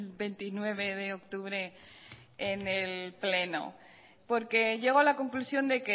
veintinueve de octubre en el pleno porque llego a la conclusión de